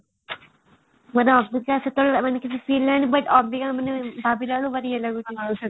ଅବିକା ମାନେ ସେତେବେଳେ କିଛି feel ହେଲାନି but ଅବିକା ଭାବିଲାବେଳକୁ ଭାରି ଇଏ ଲାଗୁଛି